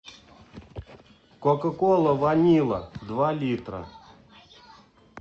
кока кола ванила два литра